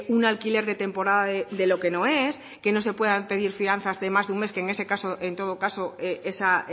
un alquiler de temporada de lo que no es que no se puedan pedir fianzas de más de un mes que en ese caso en todo caso esa